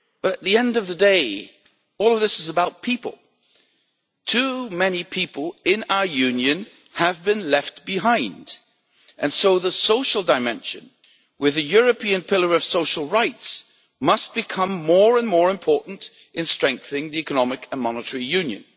At the end of the day, all of this is about people too many people in our Union have been left behind, and so the social dimension, with a European Pillar of Social Rights, must become more and more important in strengthening the economic and monetary union.